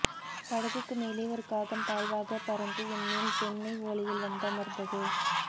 படகுக்கு மேலே ஒரு காகம் தாழ்வாகப் பறந்து என் மேல் தென்னைஓலையில் வந்தமர்ந்தது